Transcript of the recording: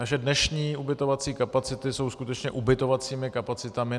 Naše dnešní ubytovací kapacity jsou skutečně ubytovacími kapacitami.